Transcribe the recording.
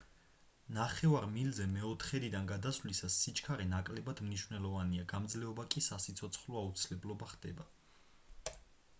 ნახევარ მილზე მეოთხედიდან გადასვლისას სიჩქარე ნაკლებად მნიშვნელოვანია გამძლეობა კი სასიცოცხლო აუცილებლობა ხდება